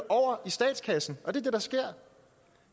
over i statskassen og det er det der sker